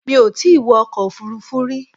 Mi ò tí wọ ọkọ̀ òfuurufú rí.